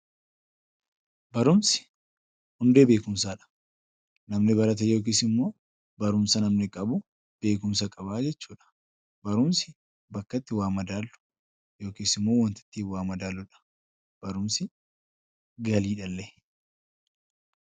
Barumsi hundee beekumsaa dha. Namni barate yookiis immoo barumsa namni qabu beekumsa qaba. Barumsi bakka itti waa madaallu yookiis immoo wanta ittiin waa madaqllu dha. Barumsi galiidha illee!